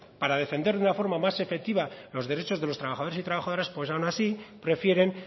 para defender de una forma más efectivas los derechos de los trabajadores y trabajadoras pues aun así prefieren